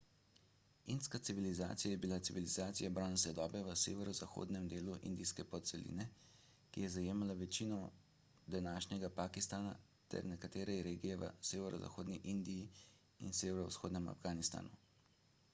indska civilizacija je bila civilizacija bronaste dobe v severozahodnem delu indijske podceline ki je zajemala večino današnjega pakistana ter nekatere regije v severozahodni indiji in severovzhodnem afganistanu